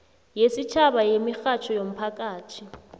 yesitjhaba yemirhatjho yomphakathi